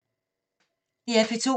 DR P2